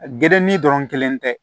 Gerenin dɔrɔn kelen tɛ